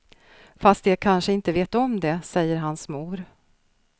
Fast de kanske inte vet om det, säger hans mor.